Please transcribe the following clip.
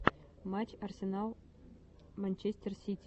матч арсенал манчестер сити